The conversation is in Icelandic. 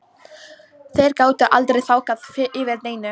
Þeir gátu aldrei þagað yfir neinu.